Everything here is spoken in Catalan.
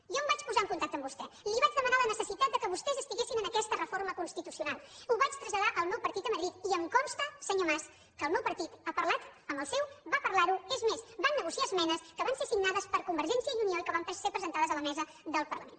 jo em vaig posar en contacte amb vostè li vaig demanar la necessitat que vostès estiguessin en aquesta reforma constitucional ho vaig traslladar al meu partit a madrid i em consta senyor mas que el meu partit ha parlat amb el seu va parlar ho és més van negociar esmenes que van ser signades per convergència i unió i que van ser presentades a la mesa del parlament